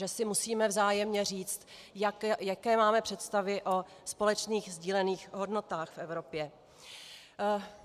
Že si musíme vzájemně říct, jaké máme představy o společných sdílených hodnotách v Evropě.